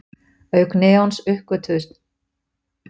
Auk neons uppgötvuðust krypton og xenon við þessar tilraunir.